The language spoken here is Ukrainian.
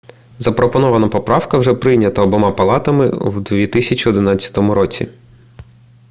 запропонована поправка вже прийнята обома палатами в 2011 році